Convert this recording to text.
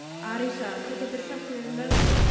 Arisa, hvað geturðu sagt mér um veðrið?